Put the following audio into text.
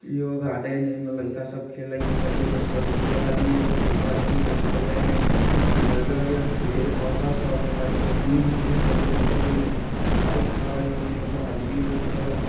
इहो गार्डन हय एमे लइका सब खेलएत हय एमें ससरे वाला भी हय एपे चहर के भी ससरे वाला हय एमें हरियर-हरियर पेड़-पौधा सब हय जमीन भी हरियर-हरियर हय एमे एगो पाइप हय ओने एगो आदमी बैठएल हय।